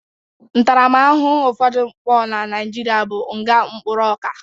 Ntarama ahụhụ ụfodụ mpụ na Nigeria bụ nga mkpụrụ ọka